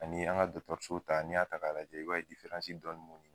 Ani an ka dɔtɔriso ta n'i y'a ta k'a lajɛ i b'a ye dɔɔni b'u